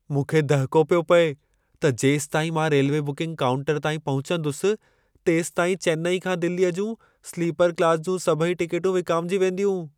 मूंखे दहिको पियो पिए त जेसिताईं मां रेल्वे बुकिंग काउंटर ताईं पहुचंदुसि, तेसिताईं चेन्नई खां दिल्लीअ जूं स्लीपर क्लास जूं सभई टिकेटूं विकामिजी वेंदियूं।